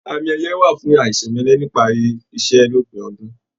Àmì ẹyẹ wà fún aisemẹlẹ nipari iṣẹ l'opin ọdún.